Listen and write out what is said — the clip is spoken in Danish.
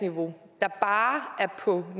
jo